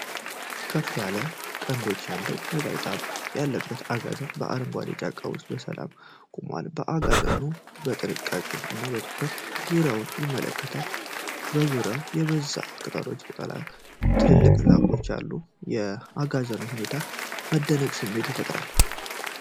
ከፍ ያለ ቀንዶች ያለው ነጠብጣብ ያለበት አጋዘን በአረንጓዴ ጫካ ውስጥ በሰላም ቆሟል። አጋዘኑ በጥንቃቄ እና በትኩረት ዙሪያውን ይመለከታል፣ በዙሪያው የበዛ የቅጠላ ቅጠል እና ትልልቅ ዛፎች አሉ። የአጋዘኑ ሁኔታ የመደነቅ ስሜትን ይፈጥራል።